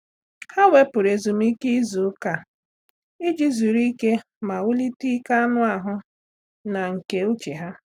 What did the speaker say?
Há wèpụ̀rụ̀ ezumike ìzù ụ́kà iji zuru ike ma wùlíté ike anụ ahụ na nke úchè ha.